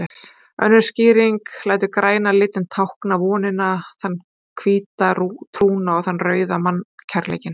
Önnur skýring lætur græna litinn tákna vonina, þann hvíta trúna og þann rauða mannkærleikinn.